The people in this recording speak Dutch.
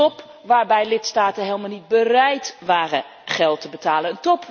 Een top waarbij lidstaten helemaal niet bereid waren geld te betalen.